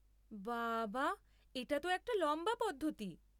বাবা, এটা তো একটা লম্বা পদ্ধতি।